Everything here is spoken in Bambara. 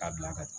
A bila ka taa